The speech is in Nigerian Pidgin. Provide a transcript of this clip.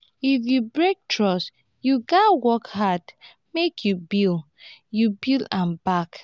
if you break trust you gats work hard make you build you build am back.